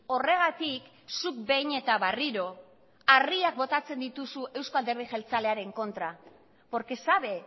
horregatik zuk behin eta berriro harriak botatzen dituzu euzko alderdi jeltzalearen kontra porque sabe